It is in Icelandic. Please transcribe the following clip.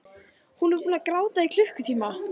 Hún er búin að gráta í klukkutíma.